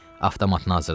Avtomatın hazırladı.